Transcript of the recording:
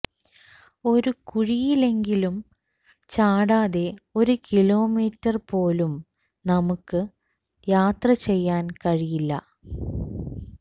ഒരു കുഴിയിലെങ്കിലും ചാടാതെ ഒരു കിലോമീറ്റർ പോലും നമുക്ക് യാത്രചെയ്യാൻ കഴിയില്ല